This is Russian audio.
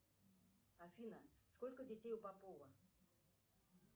афина сколько детей у попова